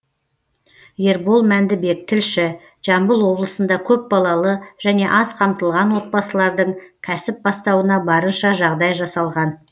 ербол мәндібек тілші жамбыл облысында көпбалалы және аз қамтылған отбасылардың кәсіп бастауына барынша жағдай жасалған